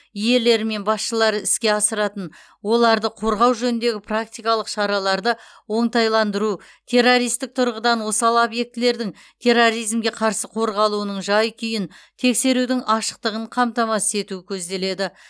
иелері мен басшылары іске асыратын оларды қорғау жөніндегі практикалық шараларды оңтайландыру террористік тұрғыдан осал объектілердің терроризмге қарсы қорғалуының жай күйін тексерудің ашықтығын қамтамасыз ету көзделеді